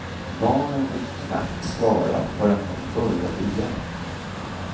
Barnen fick knappt svara, förrän hon började igen.